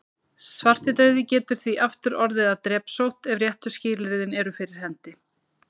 Svartidauði getur því aftur orðið að drepsótt ef réttu skilyrðin eru fyrir hendi.